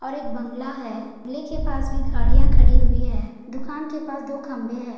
और एक बंगला है बंगले के पास भी गाड़ियाँ खड़ी हुई है दुकान के पास दो खंबे है।